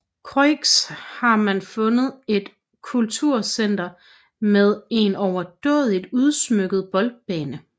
Croix har man fundet et kulturcenter med en overdådigt udsmykket boldbane